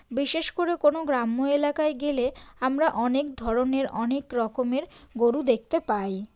বিশেষ করে কোনো গ্রাম্য এলাকায় গেলে আমরা অনেক ধরনের অনেক রকমের গরু দেখতে পাই।